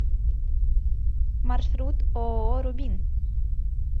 маршрут ооо рубин